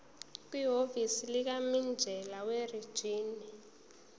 kwihhovisi likamininjela werijini